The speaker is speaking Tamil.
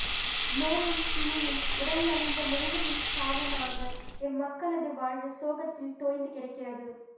நோயும் பிணியும் உடல்நலிந்த முதுமையும் சாவுமாக எம்மக்களது வாழ்வு சோகத்தில் தோய்ந்து கிடக்கிறது